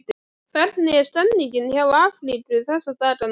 Hvernig er stemningin hjá Afríku þessa dagana?